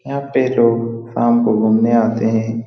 यहाँ पे लोग शाम को घूमने आते हें।